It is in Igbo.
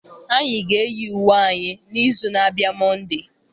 anyị ga-eyi uwe anyị n'izu na-abịa Monday.